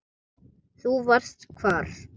Þú varst hvar?